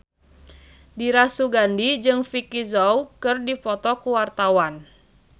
Dira Sugandi jeung Vicki Zao keur dipoto ku wartawan